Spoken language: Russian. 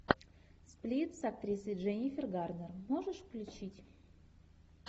сплит с актрисой дженнифер гарнер можешь включить